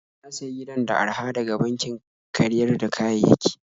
Na sayi gidan da araha daga bankin karyar da kayayyaki.